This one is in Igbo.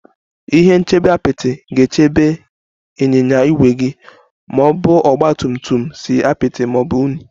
Ihe nchebe Apịtị ga-echebe gị ịnyịnya ígwè ma ọ bụ ọgba tum tum si apịtị ma ọ bụ unyi